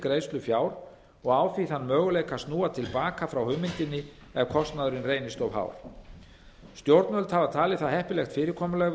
greiðslu fjár og á því þann möguleika að snúa til baka frá hugmyndinni ef kostnaðurinn reynist of hár stjórnvöld hafa talið það heppilegt fyrirkomulag